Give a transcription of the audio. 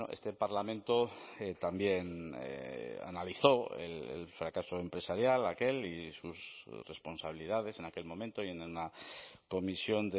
este parlamento también analizó el fracaso empresarial aquel y sus responsabilidades en aquel momento y en una comisión